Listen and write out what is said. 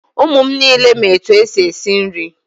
Ụmụ m niile ma etu e si esi nri.